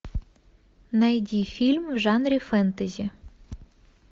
найди фильм в жанре фэнтези